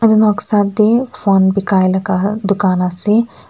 noksa te phone bekai laga dukan ase.